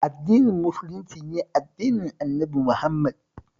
Addinin Musulunci shi ne addinin Annabi Muhammad